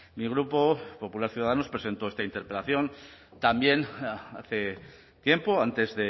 mi grupo popular ciudadanos presentó esta interpelación también hace tiempo antes